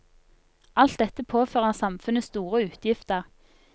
Alt dette påfører samfunnet store utgifter.